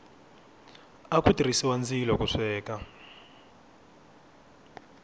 aku tirhisiwa ndzilo ku sweka